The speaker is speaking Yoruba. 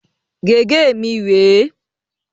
Gègé mi rè é.